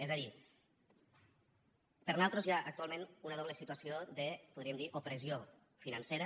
és a dir per nosaltres hi ha actualment una doble situació de podríem dir ne opressió financera